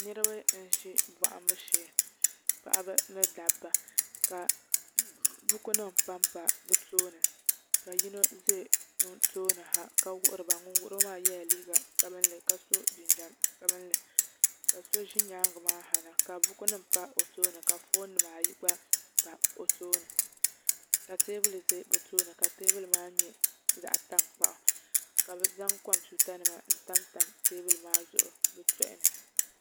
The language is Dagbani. Niraba n ʒi bohambu shee paɣaba ni dabba ka buku nim panpa bi tooni ka yino ʒɛ bi tooni ha ka wuhuriba ŋun wuhuriba maa yɛla liiga sabinli ka so jinjɛm sabinli ka so ʒi nyaanga maa na ha ka buku nim pa o tooni ka foon nimaa yi gba pa o tooni ka teebuli maa nyɛ zaɣ tankpaɣu ka bi zaŋ kompiuta nima n tam tam teebuli maa zuɣu bi tooni